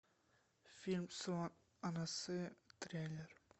фильм су анасы трейлер